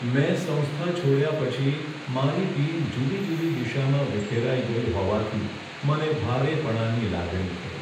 મેં સંસ્થા છોડ્યા પછી મારી ટીમ જુદી જુદી દિશામાં વિખેરાઈ ગઈ હોવાથી મને ભારેપણાની લાગણી થઈ.